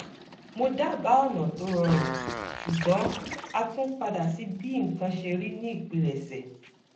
mo dábáà ọ̀nà tó rọrùn ṣùgbọ́n a tún padà sí bí nǹkan ṣe rí ní ìpilẹ̀ṣẹ̀